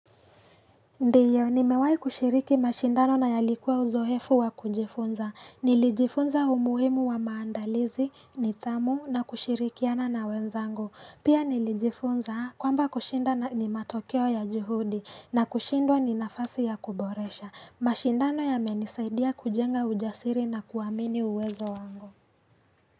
Ndiyo ni mewai kushiriki mashindano na yalikuwa uzo efu wa kujifunza nilijifunza umuhimu wa maandalizi ni dhamu na kushirikiana na wenzangu pia nilijifunza kwamba kushinda ni matokeo ya juhudi na kushindwa ni nafasi ya kuboresha mashindano ya menisaidia kujenga ujasiri na kuwamini uwezo wango.